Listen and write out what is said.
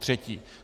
Potřetí.